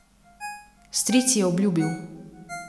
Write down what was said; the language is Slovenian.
Stric ji je obljubil.